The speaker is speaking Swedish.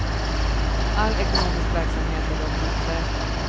All ekonomisk verksamhet är dock osäker.